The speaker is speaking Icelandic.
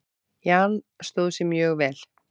Jan stóð sig mjög vel.